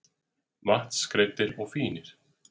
Vatnsgreiddir og fínir.